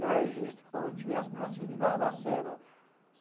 Meu registro como se eu tivesse nascido em Barbacena.